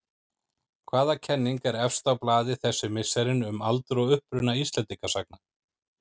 Hvaða kenning er efst á blaði þessi misserin um aldur og uppruna Íslendingasagna?